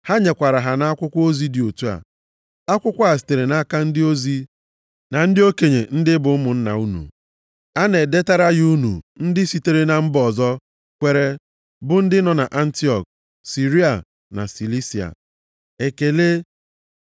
Ha nyekwara ha nʼakwụkwọ ozi dị otu a, Akwụkwọ a sitere nʼaka ndị ozi, na ndị okenye ndị bụ ụmụnna unu. A na-edetara ya unu ndị sitere na mba ọzọ kwere bụ ndị nọ nʼAntiọk, Siria na Silisia. Ekele.